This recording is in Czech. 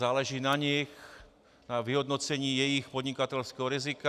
Záleží na nich, na vyhodnocení jejich podnikatelského rizika...